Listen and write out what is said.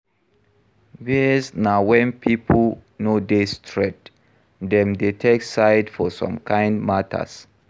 Bias na when pipo no dey straight, dem dey take side for some kind matters